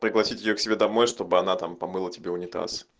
пригласить её к себе домой чтобы она там помыла тебе унитаз